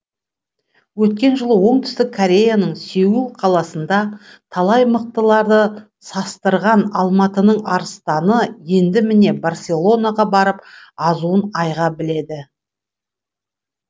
өткен жылы оңтүстік кореяның сеул қаласында талай мықтыларды састырған алматының арыстаны енді міне барселонаға барып азуын айға біледі